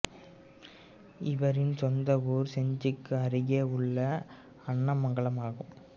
இவரின் சொந்த ஊர் செஞ்சிக்கு அருகே உள்ள அன்னமங்கலம் ஆகும்